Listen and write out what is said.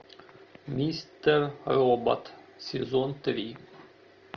мистер робот сезон три